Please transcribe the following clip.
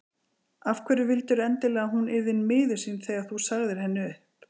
Af hverju vildirðu endilega að hún yrði miður sín þegar þú sagðir henni upp?